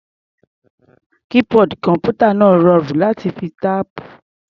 Keyboard kọ̀m̀pútà náà rọrùn láti fi táìpù.